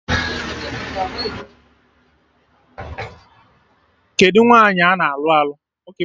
Kedụ nwaanyị ana alụ alụ?